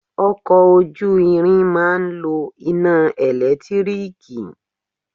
Ọkọ̀ ojú ìrìn máa ń lo iná ẹ̀lẹ́tírííkiì